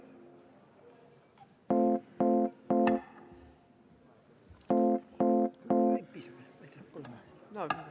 V a h e a e g